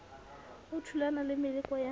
o thulana le meleko ya